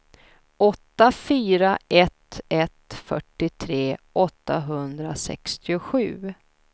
åtta fyra ett ett fyrtiotre åttahundrasextiosju